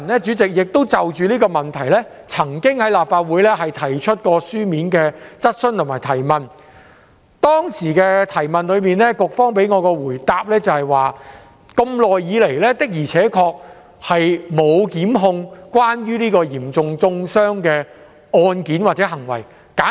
主席，我曾就這個問題在立法會會議上提出書面質詢，而當時局方給我的答覆是，長久以來的確沒有就有關嚴重中傷的案件或行為作出檢控。